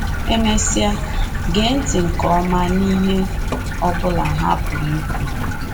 E mesịa, gee ntị nke ọma n’ihe ọ bụla ha pụrụ ikwu